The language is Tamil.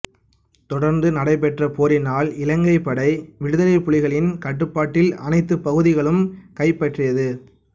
தொடர்ந்து நடைபெற்ற போரினால் இலங்கைப் படை விடுதலைப் புலிகளின் கட்டுப்பாட்டிலிருந்த அனைத்து பகுதிகளையும் கைப்பற்றியது